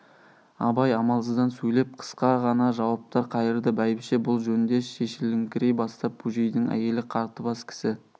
абай амалсыздан сөйлеп қысқа ғана жауаптар қайырды бәйбіше бұл жөнде шешіліңкірей бастап бөжейдің әйелі қатыбас кісі